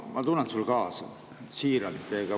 Ma tunnen sulle kaasa – siiralt.